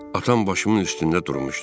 Atam başımın üstündə durmuşdu.